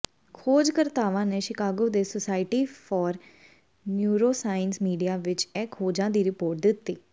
ਖੋਜਕਰਤਾਵਾਂ ਨੇ ਸ਼ਿਕਾਗੋ ਦੇ society for neuroscience media ਵਿਚ ਇਹ ਖੋਜਾਂ ਦੀ ਰਿਪੋਰਟ ਦਿੱਤੀ